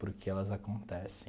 Por que elas acontecem.